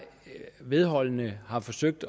vedholdende har forsøgt